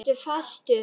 Ertu fastur?